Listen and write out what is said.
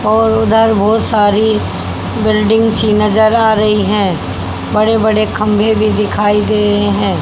और उधर बहोत सारी बिल्डिंग सी नजर आ रही है बड़े बड़े खंबे भी दिखाई दे रहे हैं।